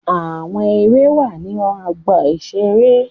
Àwọn Ère wà ní ọgbà-ìṣeré